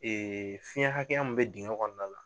fiyɛn hakɛya min bɛ digɛn kɔnɔna la.